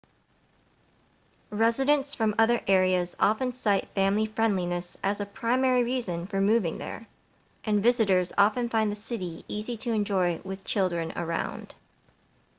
residents from other areas often cite family-friendliness as a primary reason for moving there and visitors often find the city easy to enjoy with children around